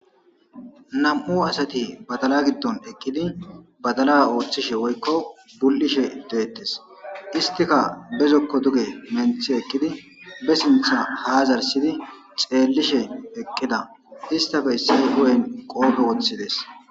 Nam'u asati badala giddon eqqidi badala ooththishe woykko bul'ishe deettes istika bezokko duge menthi ekkidi be sintha haa zarsidi xeellishe eqqida istafe issi guyen qoope woththides.